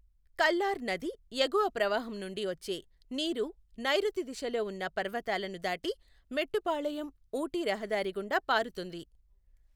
కల్లార్ నది ఎగువ ప్రవాహం నుండి వచ్చే నీరు నైరుతి దిశలో ఉన్న పర్వతాలను దాటి మెట్టుపాళయం ఊటీ రహదారి గుండా పారుతుంది.